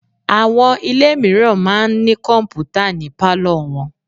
Àwọn ilé mìíràn máa ń ní kọ̀m̀pútà ni pálọ̀ wọn.